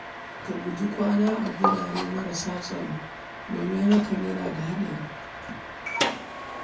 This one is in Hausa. Ka guji kwana a wurare marasa tsaro domin hakan yana da haɗari.